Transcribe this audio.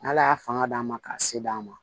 N'ala y'a fanga d'a ma ka se d'a ma